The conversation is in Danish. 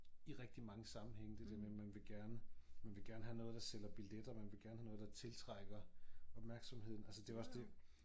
I rigtig mange sammenhænge det der med man vil gerne man vil gerne have noget der sælger billetter man vil gerne have noget der tiltrækker opmærksomheden altså det jo også det